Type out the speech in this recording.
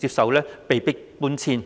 接受被迫搬遷。